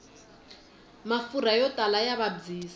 mafurha yo tala ya vabyisa